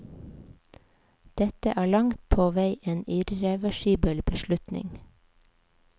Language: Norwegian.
Dette er langt på vei en irreversibel beslutning.